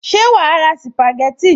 Ṣé wàá ra sìpàgẹ́tì